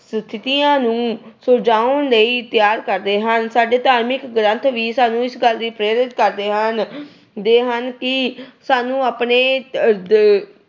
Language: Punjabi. ਸਥਿਤੀਆਂ ਨੂੰ ਸੁਲਝਾਉਣ ਲਈ ਤਿਆਰ ਕਰਦੇ ਹਨ। ਸਾਡੇ ਧਾਰਮਿਕ ਗ੍ਰੰਥ ਵੀ ਸਾਨੂੰ ਇਸ ਗੱਲ ਲਈ ਪ੍ਰੇਰਿਤ ਕਰਦੇ ਹਨ ਅਹ ਦੇ ਹਨ ਕਿ ਸਾਨੂੰ ਆਪਣੇ ਅਹ